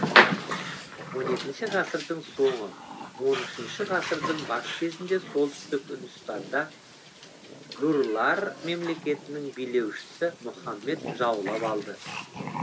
он екінші ғасырдың соңы он үшінші ғасырдың бас кезінде солтүстік үндістанды гурлар мемлекетінің билеушісі мұхаммед жаулап алды